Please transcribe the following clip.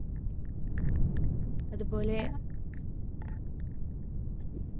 അതുപോലെ